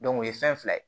o ye fɛn fila ye